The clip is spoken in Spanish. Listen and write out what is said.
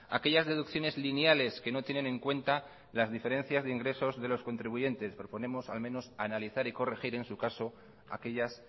aquellas deducciones lineales que no tienen en cuenta las diferencias de ingresos de los contribuyentes proponemos al menos analizar y corregir en su caso aquellas